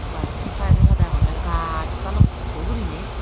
bwaa arow sei saidey saidey agonye gaas balukko guriney.